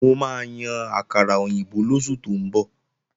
Mo máa yan àkàrà òyìnbó lóṣù tó ń bọ̀